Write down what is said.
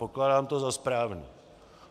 Pokládám to za správné.